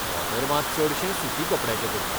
धोतर मात चडशें सुती कपड्याचें करतात.